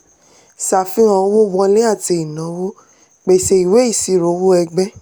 ṣàfihàn owó wọlé àti ìnáwó pèsè ìwé ìṣirò owó ẹgbẹ́.